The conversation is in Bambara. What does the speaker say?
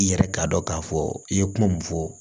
I yɛrɛ k'a dɔn k'a fɔ i ye kuma mun fɔ